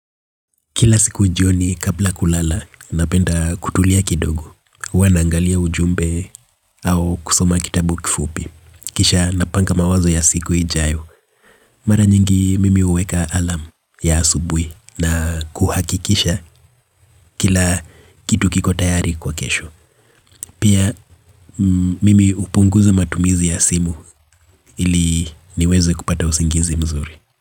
Kila siku jioni kabla ya kulala, napenda kutulia kidogo, huwa naangalia ujumbe au kusoma kitabu kifupi. Kisha napanga mawazo ya siku ijayo, mara nyingi mimi huweka alarm ya asubuhi na kuhakikisha kila kitu kiko tayari kwa kesho. Pia mimi hupunguza matumizi ya simu ili niweze kupata usingizi mzuri.